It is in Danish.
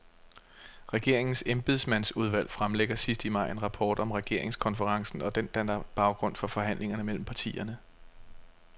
Regeringens embedsmandsudvalg fremlægger sidst i maj en rapport om regeringskonferencen, og den danner baggrund for forhandlingerne mellem partierne.